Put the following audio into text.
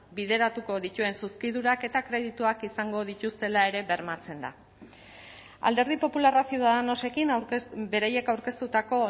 bideratuko dituen zuzkidurak eta kredituak izango dituztela ere bermatzen da alderdi popularra ciudadanosekin beraiek aurkeztutako